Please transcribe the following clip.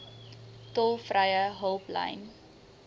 tolvrye hulplyn